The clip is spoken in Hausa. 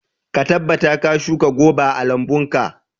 Ka tabbata ka shuka goba a lambunka.